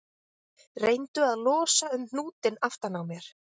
Reyndu að losa um hnútinn aftan á mér